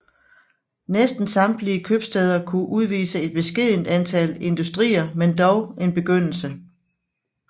Næsten samtlige købstæder kunne udvise et beskedent antal industrier men dog en begyndelse